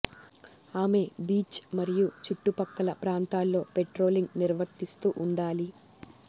ఆమె బీచ్ మరియు చుట్టు పక్కల ప్రాంతాల్లో పెట్రోలింగ్ నిర్వర్తిస్తూ ఉండాలి